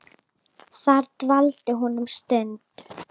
Þar dvaldi hún um stund.